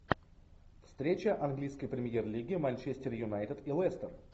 встреча английской премьер лиги манчестер юнайтед и лестер